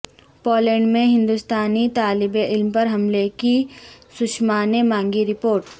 Poland میں ہندستانی طالبعلم پر حملے کی سشما نے مانگی رپورٹ